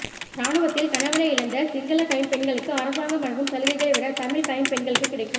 இராணுவத்தில் கணவனை இழந்த சிங்கள கைம்பெண்களுக்கு அரசாங்கம் வழங்கும் சலுகைகளைவிட தமிழ் கைம்பெண்களுக்கு கிடைக்கு